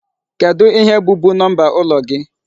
Kedụ ihe bụ bu number ụlọ gị?